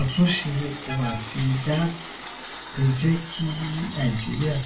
àtúnṣe epo àti gáàsì lè jẹ kí nàìjíríà